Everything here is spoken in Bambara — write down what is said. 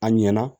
A ɲɛna